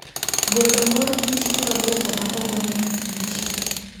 golo mor kich kendo dwoko maok oneg kich